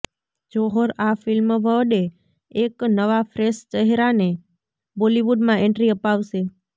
જોહર આ ફિલ્મ વડે એક નવા ફ્રેશ ચહેરાને બોલીવુડમાં એન્ટ્રી અપાવશે